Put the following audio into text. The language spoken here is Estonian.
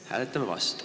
Me hääletame vastu.